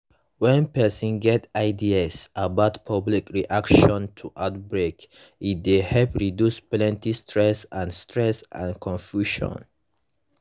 when person get ideas about public reaction to outbreak e dey help reduce plenty stress and stress and confusion